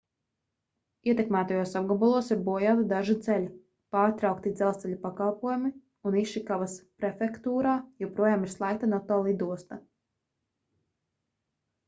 ietekmētajos apgabalos ir bojāti daži ceļi pārtraukti dzelzceļa pakalpojumi un išikavas prefektūrā joprojām ir slēgta noto lidosta